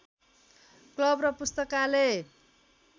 club र पुस्तकालय